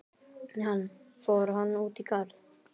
Hann: Fór hann út í garð?